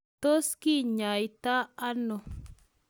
Tos kinyaita ono?